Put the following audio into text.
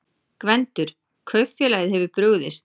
GVENDUR: Kaupfélagið hefur brugðist.